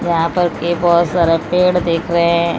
यहां पर ये बहोत सारा पेड़ दिख रहे--